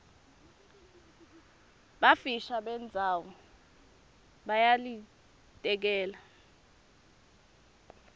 bufisha bendzawo buyalayiteleka